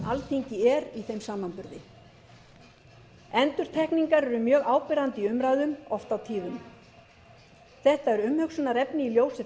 þeim samanburði endurtekningar eru mjög áberandi í umræðum oft og tíðum þetta er umhugsunarefni í ljósi